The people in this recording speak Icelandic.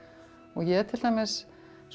ég til dæmis